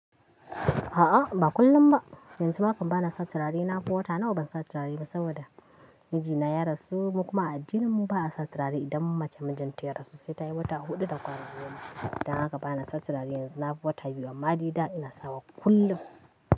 A'a, ba kullum ba. Yanzu ma hakan bana sa turare, nafi wata nawa bansa turare ba saboda mijina ya rasu. Mu kuma a addininmu ba a sa turare idan mace mijinta ya rasu, sai tayi wata huɗu da kwana goma. Dan haka bana sa turare yanzu, nafi wata biyu, amma dai ina sawa kullum.